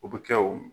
O bɛ kɛ o